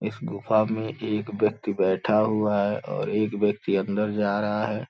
इस गुफा में एक व्यक्ति बैठा हुआ है और एक व्यक्ति अंदर जा रहा है।